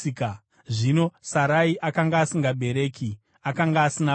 Zvino Sarai akanga asingabereki; akanga asina vana.